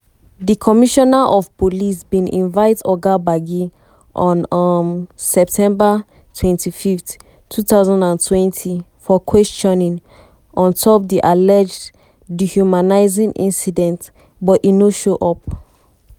di commissioner of police bin invite oga gbagi on um september 25th 2020 for questioning on top di alleged dehumanising incident but e no show up.